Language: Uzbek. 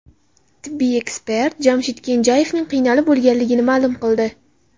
Tibbiy ekspert Jamshid Kenjayevning qiynalib o‘lganligini ma’lum qildi .